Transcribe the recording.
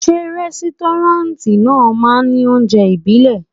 Ṣé rẹ́stọ́ráǹtì náà máa ní oúnjẹ ibile?